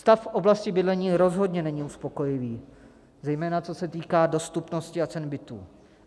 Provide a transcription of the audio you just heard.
Stav v oblasti bydlení rozhodně není uspokojivý, zejména co se týká dostupnosti a cen bytů.